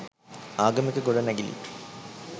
ආගමික ගොඩනැගිලි